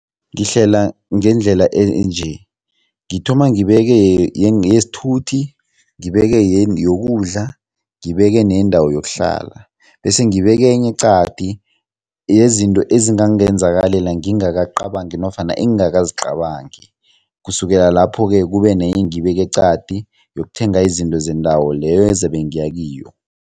Ngihlela ngendlela enje, ngithoma ngibeke yesithuthi, ngibeke yokudla, ngibeke neyendawo yokuhlala bese ngibeke enye eqadi yezinto ezingangenzakalela ngingakacabangi nofana engingakazicabangi, kusukela lapho-ke kubenenye engiyibeka eqadi yokuthenga izinto zendawo leyo ezabe ngiya kiyo.